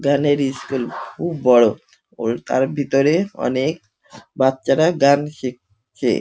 গানের ইস্কুল খুব বড় ও তার ভেতরে অনেক বাচ্চারা গান শিখ ছে।